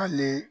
Hali